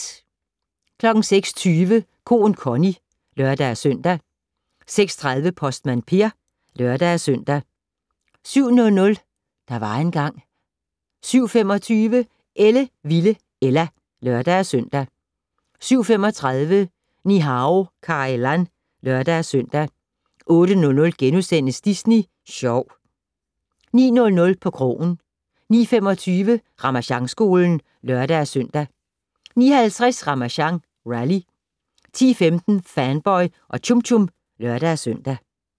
06:20: Koen Connie (lør-søn) 06:30: Postmand Per (lør-søn) 07:00: Der var engang ... 07:25: Ellevilde Ella (lør-søn) 07:35: Ni-Hao Kai Lan (lør-søn) 08:00: Disney Sjov * 09:00: På krogen 09:25: Ramasjangskolen (lør-søn) 09:50: Ramasjang Rally 10:15: Fanboy og Chum Chum (lør-søn)